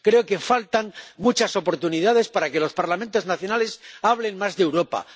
Creo que faltan muchas oportunidades para que los Parlamentos nacionales hablen más de Europa